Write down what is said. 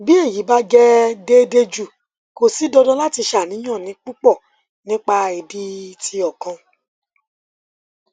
ti eyi ba jẹ deede ju ko si dandan lati ṣàníyàn pupọ nipa idi ti okan